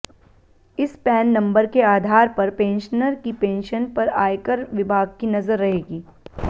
इस PAN number के आधार पर पेंशनर की पेंशन पर आयकर विभाग की नजर रहेगी